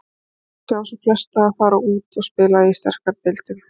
Ég vil sjá sem flestar fara út og spila í sterkari deildum.